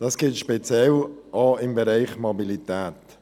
Das gilt speziell auch für den Bereich der Mobilität.